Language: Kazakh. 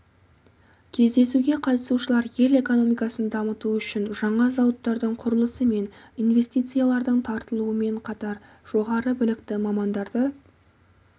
кездесуге қатысушылар ел экономикасын дамыту үшін жаңа зауыттардың құрылысы мен инвестициялардың тартылуымен қатар жоғары білікті мамандарды